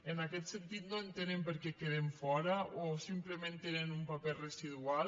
en aquest sentit no entenem per què queden fora o simplement tenen un paper residual